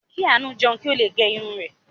Kí Àánú jẹun kí ó le gẹ irun rẹ̀.